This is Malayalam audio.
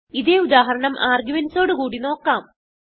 ഇതേ ഉദാഹരണം ആർഗുമെന്റ്സ് ഓട് കൂടി നോക്കാം